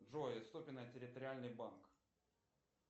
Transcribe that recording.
джой ступино территориальный банк